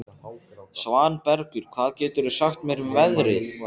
Svanbergur, hvað geturðu sagt mér um veðrið?